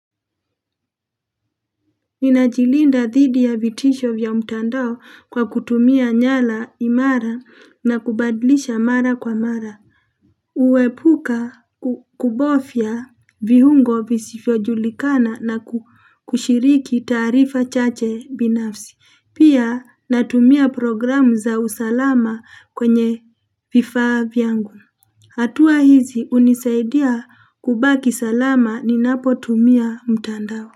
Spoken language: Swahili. Nina jilinda dhidi ya vitisho vya mtandao kwa kutumia nywila imara na kubadilisha mara kwa mara huepuka kubofya viungo visivyojulikana na kushiriki taarifa chache binafsi pia natumia programu za usalama kwenye vifaa vyangu hatua hizi unisaidia kubaki salama ninapo tumia mtandao.